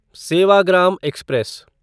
Sevagram express